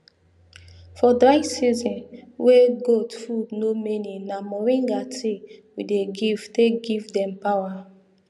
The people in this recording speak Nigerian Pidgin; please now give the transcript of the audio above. for dry season wey goat food no many na moringa tea we dey give to take give dem power